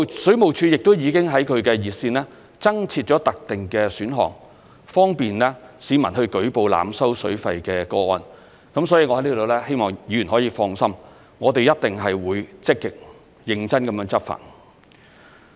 水務署亦已在其熱線增設特定選項，方便市民舉報濫收水費的個案，所以我在此希望議員可以放心，我們一定會積極、認真地執法。